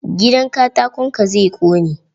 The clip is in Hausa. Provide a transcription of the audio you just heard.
Gidan katakon ka zai ƙone.